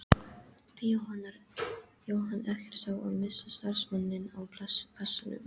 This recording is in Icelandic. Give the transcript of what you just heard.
Jóhann: Ekkert sár að missa starfsmanninn á kassanum?